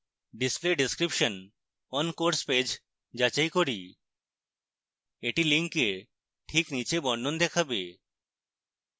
display description on course page যাচাই করুন এটি link check নীচে বর্ণন দেখাবে